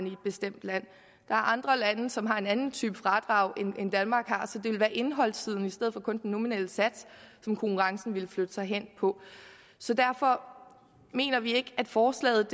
i et bestemt land der er andre lande som har en anden type fradrag end danmark har så det vil være indholdssiden i stedet for kun den nominelle sats som konkurrencen ville flytte sig hen på så derfor mener vi ikke at forslaget